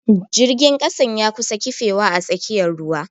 Jirgin kasan ya kusa kifewa a tsakiyar ruwa.